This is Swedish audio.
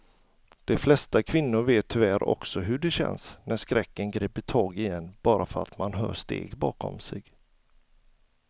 De flesta kvinnor vet tyvärr också hur det känns när skräcken griper tag i en bara för att man hör steg bakom sig.